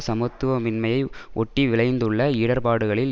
சமத்துவமின்மையை ஒட்டி விளைந்துள்ள இடர்பாடுகளில்